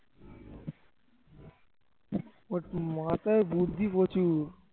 ওর তোর মাথায় বুদ্ধি প্রচুর